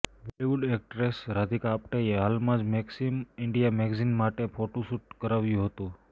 Bollywood actress Radhika આપ્ટેએ હાલમાં જ મેક્સિમ ઈન્ડિયા મેગેઝીન માટે ફોટોશૂટ કરાવ્યું હતું